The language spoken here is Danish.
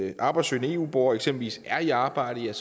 en arbejdssøgende eu borger eksempelvis er i arbejde er